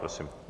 Prosím.